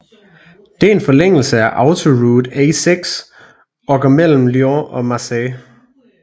Det er en forlængelse af Autoroute A6 og går mellem Lyon og Marseille